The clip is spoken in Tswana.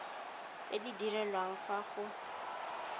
tse di direlwang fa go